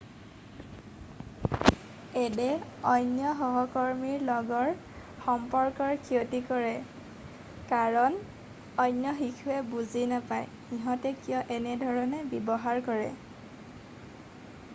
addয়ে অন্য সহকৰ্মীৰ লগৰ সম্পৰ্কৰ ক্ষতি কৰে কাৰণ অন্য শিশুৱে বুজি নাপায় সিহঁতে কিয় এনেধৰণে ব্যৱহাৰ কৰে বা সিহঁতে কিয় এনেধৰণে উচ্চাৰণ কৰে নাইবা সিহঁতৰ বুজা শক্তি কিয় বেলেগ।